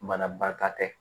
Banabaatɔ tɛ